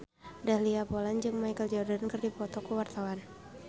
Dahlia Poland jeung Michael Jordan keur dipoto ku wartawan